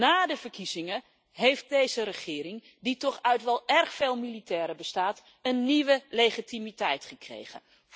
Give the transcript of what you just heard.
Na de verkiezingen heeft deze regering, die toch uit wel erg veel militairen bestaat, een nieuwe legitimiteit gekregen.